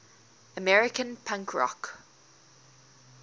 american punk rock